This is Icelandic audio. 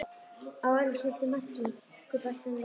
Í orðsins fyllstu merkingu, bætti hann við.